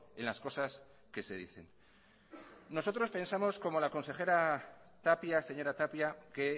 en las cosas que se dicen nosotros pensamos como la consejera tapia señora tapia que